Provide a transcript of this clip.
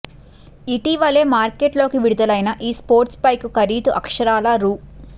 ఇటీవలే మార్కెట్లోకి విడుదలైన ఈ స్పోర్ట్స్ బైక్ ఖరీదు అక్షరాల రూ